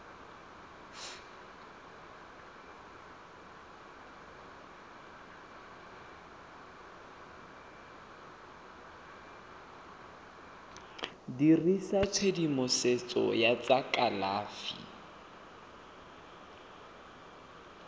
dirisa tshedimosetso ya tsa kalafi